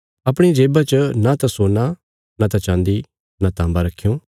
अपणिया जेबा च न त सोना न त चान्दी न ताँबा रखयों